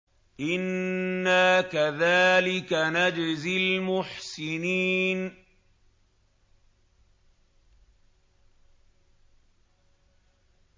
إِنَّا كَذَٰلِكَ نَجْزِي الْمُحْسِنِينَ